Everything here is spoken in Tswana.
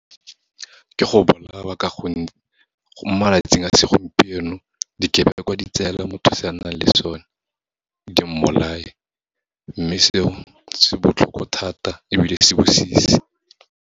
Ke go bolawa ka gonne, mo malatsing a segompieno, dikebekwa di tseela motho se a nang le sone, di mmolaye. Mme seo, se botlhoko thata ebile se se bosisi.